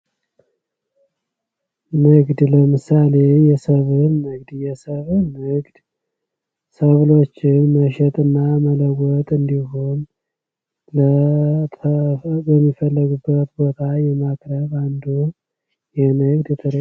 ንግድ ለምሳሌ የሰበል ንግድ የሰብል ንግድ ሰብሎችን መሸጥና መለወጥ እንዲሁም ለሚፈለጉበት ቦታ የማቅረብ አንዱ የንግድ ትርዒት